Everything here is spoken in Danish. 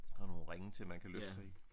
Og nogle ringe til man kan løfte sig i